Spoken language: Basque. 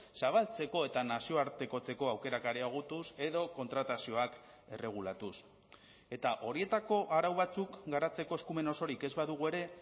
zabaltzeko eta nazioartekotzeko aukerak areagotuz edo kontratazioak erregulatuz eta horietako arau batzuk garatzeko eskumen osorik ez badugu ere